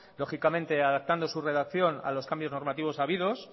lógicamente adaptando su redacción a los cambios normativos habidos